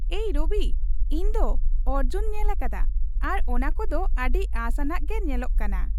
ᱮᱭ ᱨᱚᱵᱤ, ᱤᱧ ᱫᱚ ᱚᱨᱡᱚᱧ ᱧᱮᱞᱟᱠᱟᱫᱟ ᱟᱨ ᱚᱱᱟ ᱠᱩ ᱫᱚ ᱟᱹᱰᱤ ᱟᱥᱼᱟᱱᱟᱜ ᱜᱮ ᱧᱮᱞᱚᱜ ᱠᱟᱱᱟ ᱾